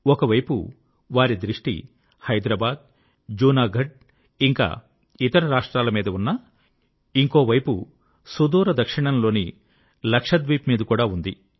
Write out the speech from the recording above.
ఒకవైపు వారి దృష్టి హైదరాబాద్ జూనాగఢ్ ఇంకా ఇతర రాష్ట్రాలమీద ఉన్నా ఇంకోవైపు సుదూర దక్షిణంలోని లక్షద్వీప్ మీద కూడా ఉండింది